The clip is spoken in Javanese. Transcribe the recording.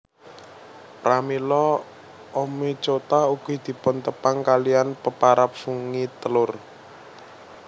Pramila Oomycota ugi dipuntepang kaliyan peparab fungi telur